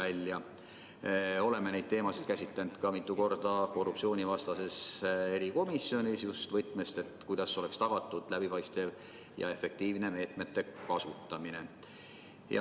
Me oleme neid teemasid käsitlenud mitu korda ka korruptsioonivastases erikomisjonis, seda just võtmes, kuidas oleks tagatud läbipaistev ja efektiivne meetmete kasutamine.